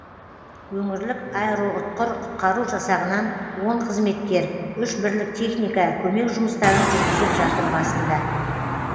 өңірлік аэроұтқыр құтқару жасағынан он қызметкер үш бірлік техника көмек жұмыстарын жүргізіп жатыр басында